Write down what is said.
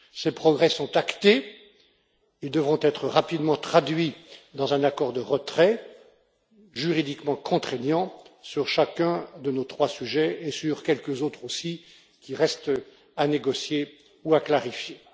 Ces progrès sont actés et devront être rapidement traduits dans un accord de retrait juridiquement contraignant sur chacun de nos trois sujets et sur quelques autres aussi qui restent à négocier ou à clarifier.